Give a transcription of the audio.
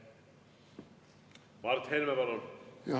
Mart Helme, palun!